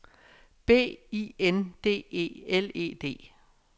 B I N D E L E D